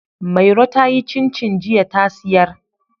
Mairo ta yi cincin jiya ta siyar.